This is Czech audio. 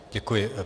Děkuji.